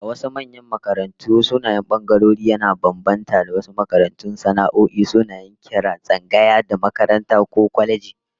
A wasu manyan makarantu, sunayen bangarorin yana bambanta, misali maimakon tsangaya, wasu kwalejojin ko makarantun sana'o'i suna kiran tsangaya da "makaranta" ko "kwaleji"